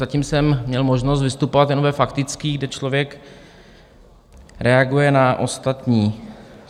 Zatím jsem měl možnost vystupovat jenom ve faktických, kde člověk reaguje na ostatní.